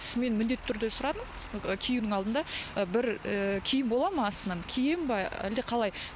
мен міндетті түрде сұрадым і киюдің алдында і бір ыыы киім болады ма астынан киейін бе ы әлде қалай